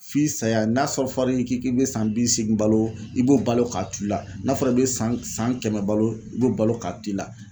F'i saya n'a sɔrɔ fɔr'i k'i k'i be san bi seegin balo i b'o balo k'a tu i la n'a fɔra i be san san kɛmɛ balo i b'o balo k'a t'i la.